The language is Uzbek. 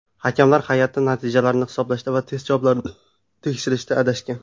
Hakamlar hay’ati natijalarni hisoblashda va test javoblarini tekshirishda adashgan.